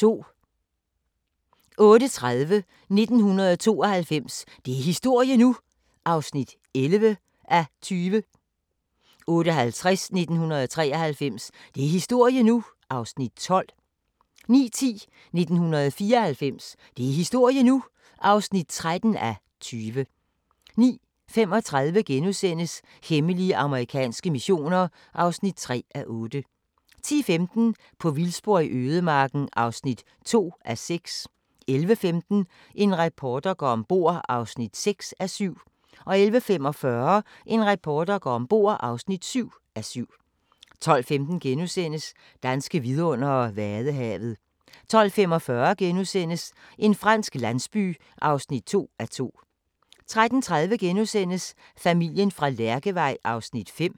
08:30: 1992 – det er historie nu! (11:20) 08:50: 1993 – det er historie nu! (12:20) 09:10: 1994 – det er historie nu! (13:20) 09:35: Hemmelige amerikanske missioner (3:8)* 10:15: På vildspor i ødemarken (2:6) 11:15: En reporter går om bord (6:7) 11:45: En reporter går om bord (7:7) 12:15: Danske vidundere: Vadehavet * 12:45: En fransk landsby (2:2)* 13:30: Familien fra Lærkevej (5:6)*